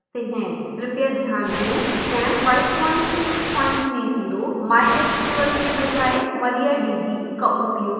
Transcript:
कृपया ध्यान दें xampp 5630 mysql के बजाय mariadb का उपयोग करता है